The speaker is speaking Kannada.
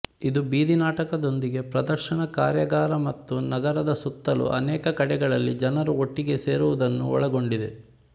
ಇದು ಬೀದಿ ನಾಟಕದೊಂದಿಗೆ ಪ್ರದರ್ಶನ ಕಾರ್ಯಾಗಾರ ಮತ್ತು ನಗರದ ಸುತ್ತಲೂ ಅನೇಕ ಕಡೆಗಳಲ್ಲಿ ಜನರು ಒಟ್ಟಿಗೆ ಸೇರುವುದನ್ನು ಒಳಗೊಂಡಿದೆ